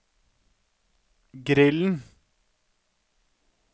grillen